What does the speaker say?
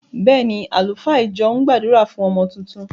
Bẹ́ẹ̀ ni, àlùfáà ìjọ ń gbàdúrà fún ọmọ tuntun.